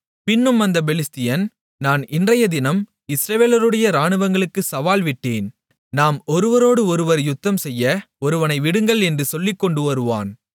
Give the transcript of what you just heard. பின்னும் அந்தப் பெலிஸ்தியன் நான் இன்றையதினம் இஸ்ரவேலுடைய இராணுவங்களுக்கு சவால் விட்டேன் நாம் ஒருவரோடு ஒருவர் யுத்தம்செய்ய ஒருவனை விடுங்கள் என்று சொல்லிக்கொண்டு வருவான்